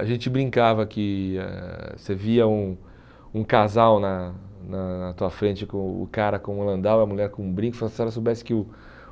A gente brincava que eh você via um um casal na na na tua frente, com o cara com o Landau e a mulher com o brinco, fala se ela soubesse que o